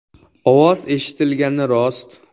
Ovoz eshitilgani rost.